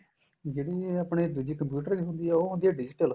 ਜਿਹੜੀ ਇਹ ਆਪਣੇ ਦੂਜੀ computer ਵਾਲੀ ਹੁੰਦੀ ਏ ਉਹ ਹੁੰਦੀ ਏ digital